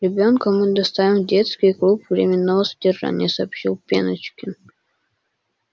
ребёнка мы доставим в детский клуб временного содержания сообщил пеночкин